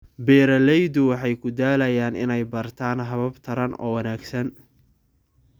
Beeraleydu waxay ku dadaalayaan inay bartaan habab taran oo wanaagsan.